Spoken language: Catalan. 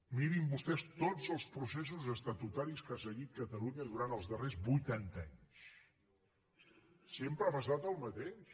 mirin vostès tots els processos estatutaris que ha seguit catalunya durant els darrers vuitanta anys sempre ha passat el mateix